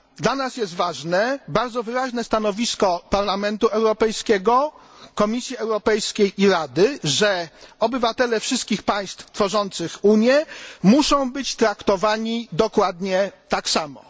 Dla nas jest ważne bardzo wyraźne stanowisko Parlamentu Europejskiego, Komisji Europejskiej i Rady, że obywatele wszystkich państw tworzących Unię muszą być traktowani dokładnie tak samo.